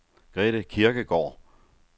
Grete Kirkegaard